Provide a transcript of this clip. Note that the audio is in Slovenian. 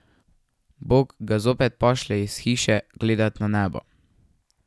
Bog ga zopet pošlje iz hiše gledat na nebo.